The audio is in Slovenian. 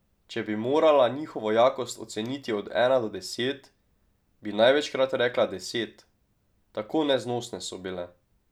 Če bi morala njihovo jakost oceniti od ena do deset, bi največkrat rekla deset, tako neznosne so bile.